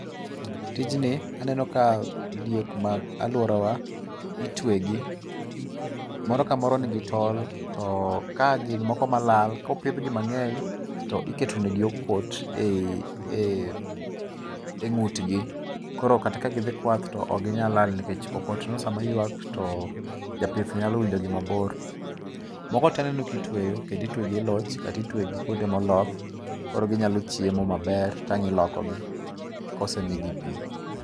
Tijni aneno ka diek mag aluorawa itwegi. Moro ka moro nigi tol to ka gin moko malal kopidhgi to iketonegi okot eng'utgi. Koro kata ka gidhi kwath to ok gi nya lal nikech oktono sama yuak to japith nyalo winjo gi gi mabor. Moko to aneno ka itweyo kendo itwe gi e loch kata itwe gi kwonde moloth koro ginyalo chiemo maber to ang' ilokogi kosemigi pi.